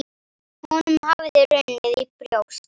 Honum hafði runnið í brjóst.